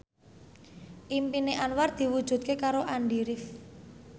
impine Anwar diwujudke karo Andy rif